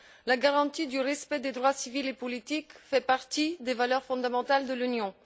La garantie du respect des droits civils et politiques fait partie des valeurs fondamentales de l'Union.